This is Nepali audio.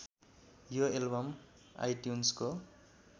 यो एल्बम आइट्युन्सको